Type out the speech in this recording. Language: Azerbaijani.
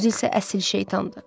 Özü isə əsl şeytandı.